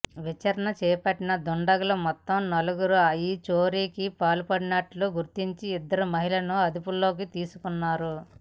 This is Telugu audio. విచారణ చేపట్టిన దుండగులు మొత్తం నలుగురు ఈ చోరీకి పాల్పడినట్లు గుర్తించి ఇద్దరు మహిళలను అదుపులోకి తీసుకున్నారు